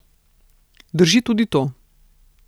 Drži tudi to.